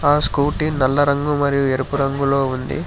ఆ స్కూటీ నల్లరంగు మరియు ఎరుపు రంగులో ఉంది.